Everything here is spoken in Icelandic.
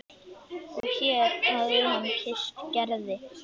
Og hér hér hafði hann kysst Gerði.